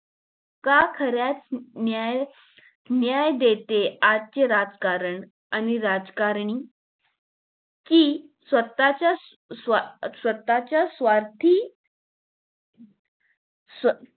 का खराच न्याय न्याय देते आजचे राजकारण आणि राजकारणी कि स्वतःच्याच स्वतःच्याच स्वार्थी स्व